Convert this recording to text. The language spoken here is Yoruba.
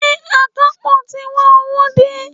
Ṣé akapo ti gba owó dé?